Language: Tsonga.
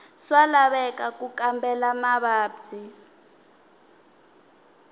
swa laveka ku kambela mavabyi